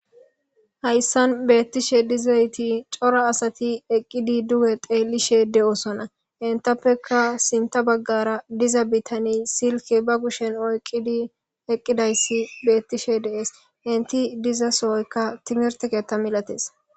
Hayssan beettishe dizayti cora asati eqqidi duwe teelishe de7osona intappeka sinta baggara diza bitani silke ba gushshen oyqqidi eqqidayssi beettishe deees inti diza sooykka timirtekeetta milates.